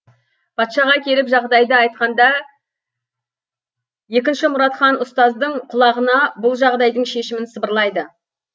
патшаға келіп жағдайды айтқанында екінші мұрат хан ұстаздың құлағына бұл жағдайдың шешімін сыбырлайды